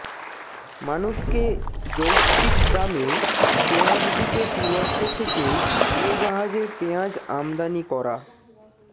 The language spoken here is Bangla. মানুষকে যৌক্তিক দামে পেঁয়াজ দিতে তুরস্ক থেকে উড়োজাহাজে পেঁয়াজ আমদানি করা